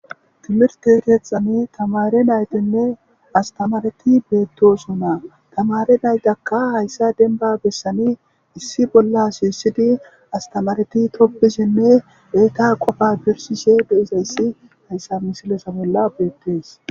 timirte keethani tamare naytenne astamareti beettosonaa tamare naytakka hayssa denba bessanii issi bolla shiisidi astamareti tobbisinne beeta qofa birsisheshe de'izayssi hayssa misileza bolla beettees